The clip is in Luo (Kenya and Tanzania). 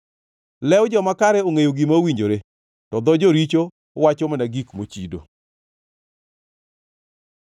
Lew joma kare ongʼeyo gima owinjore, to dho joricho wacho mana gik mochido.